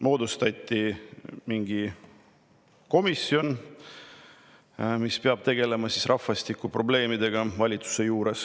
Moodustati valitsuse juurde mingi komisjon, mis peab tegelema rahvastikuprobleemidega.